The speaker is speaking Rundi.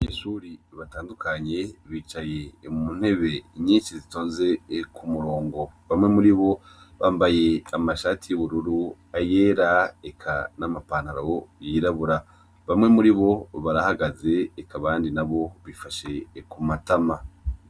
Abanyeshuri batandukanye bicaye mu ntebe inyinsi zitonze ku murongo bamwe muri bo bambaye amashati y'ubururu ayera eka n'amapantaro yirabura bamwe muri bo barahagaze eka abandi na bo bifashe ku matama.